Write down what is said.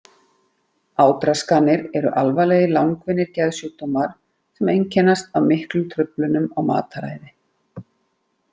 Átraskanir eru alvarlegir langvinnir geðsjúkdómar sem einkennast af miklum truflunum á mataræði.